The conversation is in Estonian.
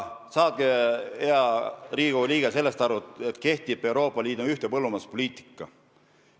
Saage, hea Riigikogu liige, sellest aru, et kehtib Euroopa Liidu ühtne põllumajanduspoliitika.